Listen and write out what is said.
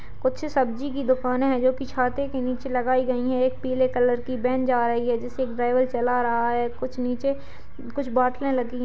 कुछ सब्जी की दुकाने है जो की छाते की नीचे लगायी गयी है। एक पीले कलर की बेन जा रही है जिसे एक ड्राईवर चला रहा है। कुछ नीचे कुछ बोतले लगी--